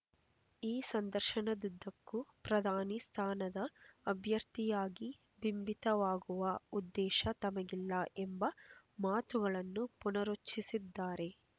ಈ ಸಂದರ್ಶನದುದ್ದಕ್ಕೂ ಪ್ರಧಾನಿ ಸ್ಥಾನದ ಅಭ್ಯರ್ಥಿಯಾಗಿ ಬಿಂಬಿತವಾಗುವ ಉದ್ದೇಶ ತಮಗಿಲ್ಲ ಎಂಬ ಮಾತುಗಳನ್ನು ಪುನರುಚ್ಛರಿಸಿದ್ದಾರೆ